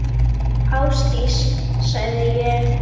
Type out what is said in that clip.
Ásdís, sagði ég.